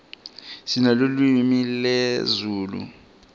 sinelulwimi lezulu